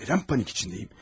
Nədən panik içindəyəm?